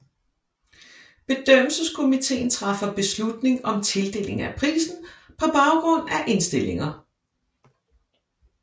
Bedømmelseskomiteen træffer beslutning om tildeling af prisen på baggrund af indstillinger